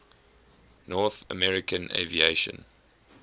north american aviation